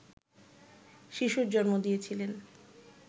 শিশুর জন্ম দিয়েছিলেন